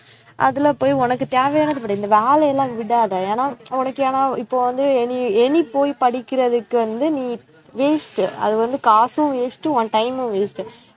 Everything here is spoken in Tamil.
அதுல போய் உனக்கு தேவையானதை படி இந்த வேலை எல்லாம் விடாதே, ஏன்னா உனக்கு ஏன்னா இப்போ வந்து நீ இனி வெளியே போய் படிக்கிறதுக்கு வந்து நீ waste அது வந்து காசும் waste உன் time மும் waste